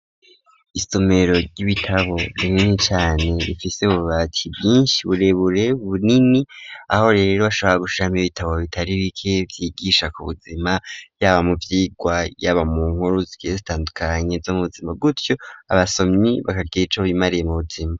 Isomero ry'ibitabo rinini cane rifise ububati bwinshi burebure bunini aho rero hashabora gushiramwo ibitabu bitari bike vyigisha ku buzima vyaba mu vyigwa y'aba mu nkuru zigiye zitandukanye zo mubuzima gutyo abasomyi bakagira ico bimariye mu buzima.